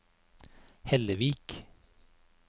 Hellevik